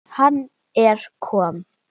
Hann er kom